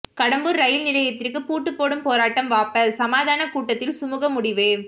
Kadambur rail நிலையத்திற்கு பூட்டு போடும் போராட்டம் வாபஸ் சமாதான கூட்டத்தில் சுமூக முடிவு